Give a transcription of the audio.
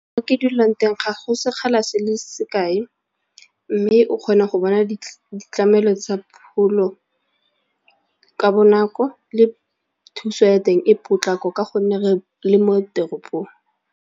Ke dulang teng ga go sekgala se le sekae mme o kgona go bona ditlamelo tsa pholo ka bonako le thuso ya teng e potlako ka gonne re le mo teropong.